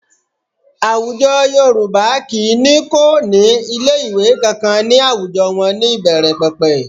Àwùjọ Yorùbá kì í ní kò ní ilé ìwé kankan ní àwùjọ wọn ní ìbẹ̀rẹ̀pẹ̀pẹ̀